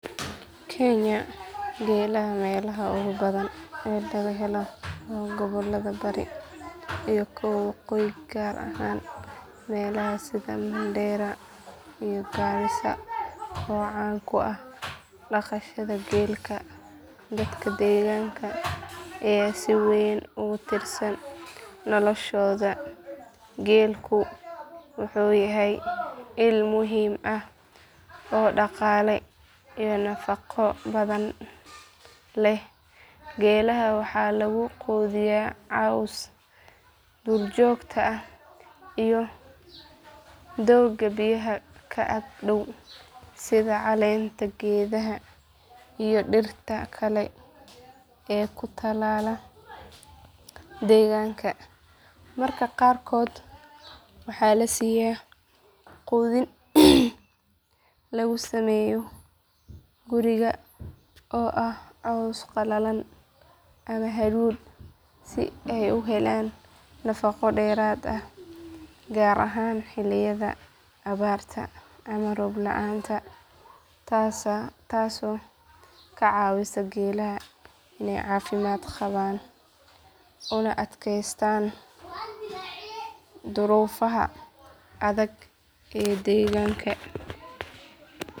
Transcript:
Kenya geelaha meelaha ugu badan ee laga helo waa gobollada bari iyo kuwa waqooyi gaar ahaan meelaha sida mandheera iyo garissa oo caan ku ah dhaqashada geelka dadka deegaanka ayaa si weyn ugu tiirsan noloshooda geelku wuxuu yahay il muhiim ah oo dhaqaale iyo nafaqo labadaba leh geelaha waxaa lagu quudiyaa cawska duurjoogta ah iyo doogga biyaha ka ag dhow sida caleenta geedaha iyo dhirta kale ee ku taala deegaankooda mararka qaarkoodna waxaa la siiya quudin lagu sameeyo guriga oo ah caws qalalan ama hadhuudh si ay u helaan nafaqo dheeraad ah gaar ahaan xilliyada abaarta ama roob la’aanta taasoo ka caawisa geelaha inay caafimaad qabaan una adkaystaan duruufaha adag ee deegaanka.